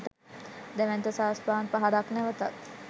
දැවැන්ත සාස්පාන් පහරක් නැවතත්